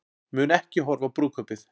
Mun ekki horfa á brúðkaupið